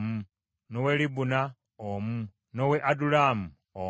n’ow’e Libuna omu, n’ow’e Adulamu omu,